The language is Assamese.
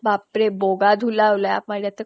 বাপ ৰে বগা ধূলা ওলায় আমাৰ ইয়াতে